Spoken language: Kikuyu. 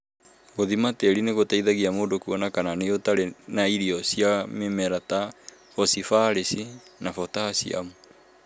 Gũthima tĩĩri nĩ gũteithagia mũndũ kuona kana nĩ ũtarĩ na irio cia mĩmera ta bosibaraci na botaciamu.